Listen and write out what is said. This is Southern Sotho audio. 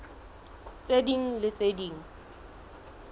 tse ding le tse ding